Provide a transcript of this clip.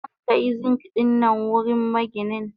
Zankai Zink dinnan wurin maginin.